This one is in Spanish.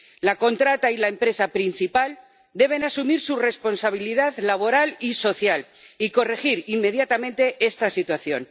La contrata y la empresa principal deben asumir su responsabilidad laboral y social, y corregir inmediatamente esta situación.